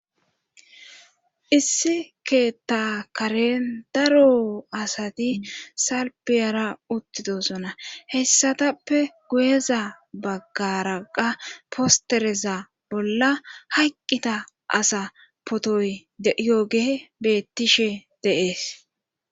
issi keetta karen daro asati salpe ara uttidosona hessatappe guyeza baggaraqa postereza bolla hayqqita asa potoy yooge bettishe deees